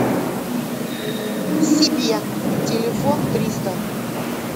себе телефон триста